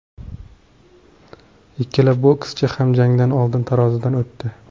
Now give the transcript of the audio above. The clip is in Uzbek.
Ikkala bokschi ham jangdan oldin tarozidan o‘tdi.